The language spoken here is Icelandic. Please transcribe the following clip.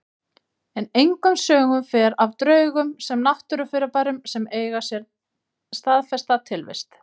En engum sögum fer af draugum sem náttúrufyrirbærum sem eiga sér staðfesta tilvist.